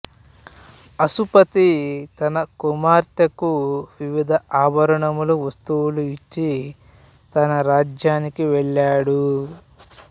అశ్వపతి తన కుమార్తెకు వివిధ ఆభరణాలు వస్తువులు ఇచ్చి తన రాజధానికి వెళ్ళాడు